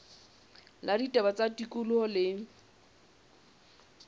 la ditaba tsa tikoloho le